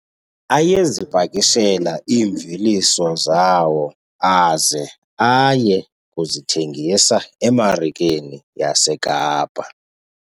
Ayezipakishela iimveliso zawo aze aye kuzithengisa emarikeni yaseKapa.